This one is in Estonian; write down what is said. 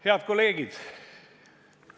Head kolleegid!